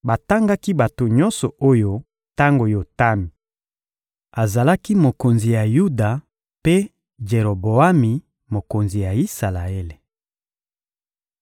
Batangaki bato nyonso oyo tango Yotami azalaki mokonzi ya Yuda mpe Jeroboami, mokonzi ya Isalaele.